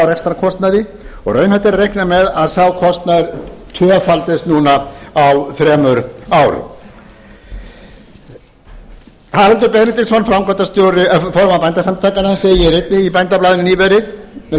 rekstrarkostnaði og raunhæft er að reikna með að sá kostnaður tvöfaldist núna á þremur árum haraldur benediktsson formaður bændasamtakanna segir einnig í bændablaðinu nýverið með leyfi